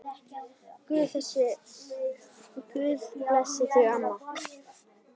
Guð blessi þig, amma.